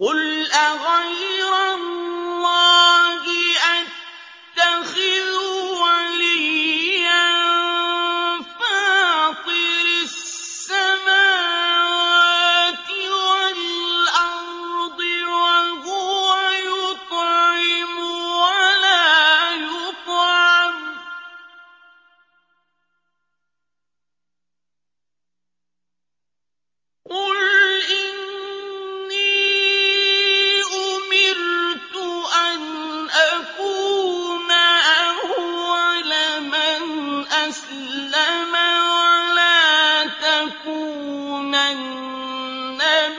قُلْ أَغَيْرَ اللَّهِ أَتَّخِذُ وَلِيًّا فَاطِرِ السَّمَاوَاتِ وَالْأَرْضِ وَهُوَ يُطْعِمُ وَلَا يُطْعَمُ ۗ قُلْ إِنِّي أُمِرْتُ أَنْ أَكُونَ أَوَّلَ مَنْ أَسْلَمَ ۖ وَلَا تَكُونَنَّ